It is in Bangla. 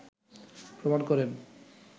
প্রমাণ করেন